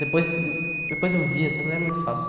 Depois depois eu vi assim, eu falei era muito fácil.